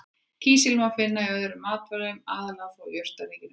Kísil má finna í öðrum matvælum, aðallega þó úr jurtaríkinu.